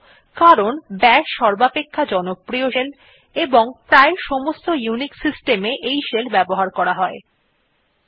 000344 000251 কারণ বাশ সর্বাপেক্ষা জনপ্রিয় শেল এবং প্রায় সমস্ত ইউনিক্স সিস্টেম এ ব্যবহার করা যায়